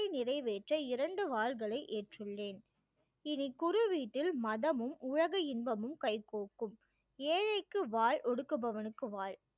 உன்னருளை நிறைவேற்ற இரண்டு வாள்களை ஏற்றுள்ளேன் இனி குருவீட்டில் மதமும் உலக இன்பமும் கைகோக்கும் ஏழைக்கு ஒடுக்கபவனுக்கு வாள்